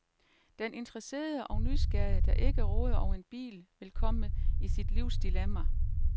Den interesserede og nysgerrige, der ikke råder over en bil, vil komme i sit livs dilemma.